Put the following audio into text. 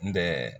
N bɛ